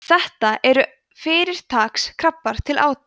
þetta eru fyrirtaks krabbar til átu